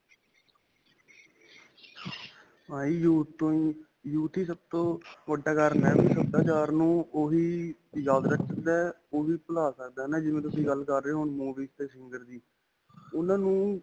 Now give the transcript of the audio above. youth ਤੋਂ ਹੀ youth ਹੀ ਸਭ ਤੋ ਵੱਡਾ ਕਾਰਣ ਹੈ, ਸਭਿਆਚਾਰ ਨੂੰ ਓਹ ਹੀ ਯਾਦ ਰਖਦਾ ਹੈ, ਓਹ ਹੀ ਭੁਲਾ ਸਕਦਾ ਹੈ ਨਾ, ਜਿਵੇਂ ਤੁਸੀਂ ਗੱਲ ਕਰ ਰਹੇ ਹੋ movies 'ਤੇ singer ਦੀ ਉਨ੍ਹਾਂ ਨੂੰ.